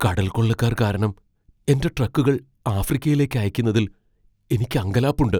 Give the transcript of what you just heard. കടൽക്കൊള്ളക്കാർ കാരണം എന്റെ ട്രക്കുകൾ ആഫ്രിക്കയിലേക്ക് അയയ്ക്കുന്നതിൽ എനിക്ക് അങ്കലാപ്പുണ്ട്.